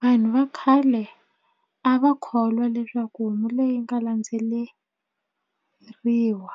Vanhu va khale a va kholwa leswaku homu leyi nga landzeleriwa